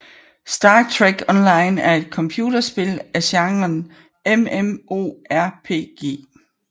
Star Trek Online er et computerspil af genren MMORPG